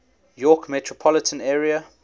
york metropolitan area